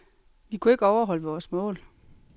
Vi kunne ikke overholde vores mål.